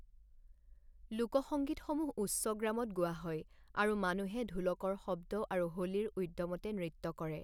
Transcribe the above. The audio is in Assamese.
লোকসঙ্গীতসমূহ উচ্চগ্ৰামত গোৱা হয় আৰু মানুহে ঢোলকৰ শব্দ আৰু হোলীৰ উদ্যমতে নৃত্য কৰে।